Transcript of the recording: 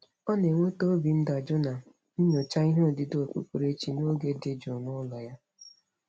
Ọ na-enweta obi ndajụ na nyocha ihe odide okpukperechi n'oge dị jụụ n'ụlọ ya.